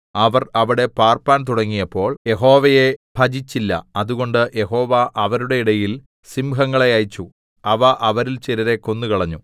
അവർ അവിടെ പാർപ്പാൻ തുടങ്ങിയപ്പോൾ യഹോവയെ ഭജിച്ചില്ല അതുകൊണ്ട് യഹോവ അവരുടെ ഇടയിൽ സിംഹങ്ങളെ അയച്ചു അവ അവരിൽ ചിലരെ കൊന്നുകളഞ്ഞു